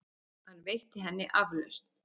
Hann veitti henni aflausn.